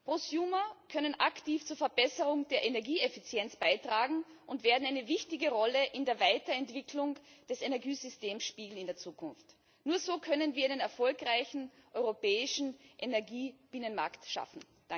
Prosumer können aktiv zur Verbesserung der Energieeffizienz beitragen und werden eine wichtige Rolle in der Weiterentwicklung des Energiesystems in der Zukunft spielen. Nur so können wir einen erfolgreichen europäischen Energie Binnenmarkt schaffen.